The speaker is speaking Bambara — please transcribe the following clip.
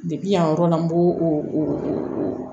yan yɔrɔ la n b'o o